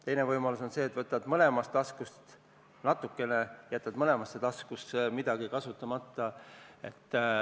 Teine võimalus on see, et võtad mõlemast taskust natukene ja jätad mõlemasse taskusse midagi alles.